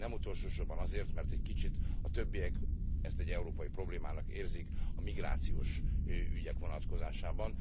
Nem utolsó sorban azért, mert egy kicsit a többiek ezt egy európai problémának érzik a migrációs ügyek vonatkozásában.